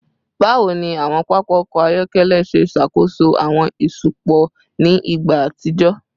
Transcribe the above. Bawo ni awọn papa ọkọ ayọkẹlẹ ṣe ṣakoso awọn iṣupọ ni igba atijọ?